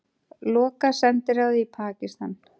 Loka sendiráði í Pakistan